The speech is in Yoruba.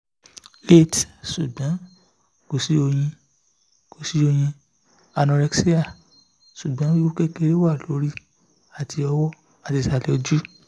eight sugbon ko si oyin ko si oyin anorexia sugbon wiwu kekere wa lori ati owo ati isale oju